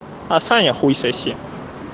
а саня хуй соси